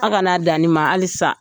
A ka n'a dan nin ma halisa